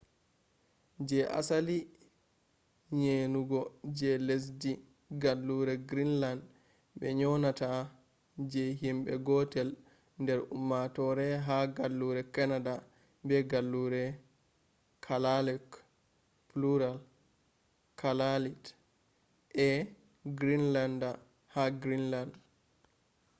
je asali nyinugo je lesdhi gallure greenland be nyonata je hinbe gotel der ummatore ha gallure canada be gallure kalaalleq plural kalaallit e greenlander ha greenland